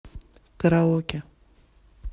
караоке